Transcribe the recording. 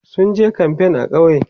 sunje kamfain a ƙauye